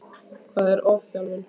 Hvað er ofþjálfun?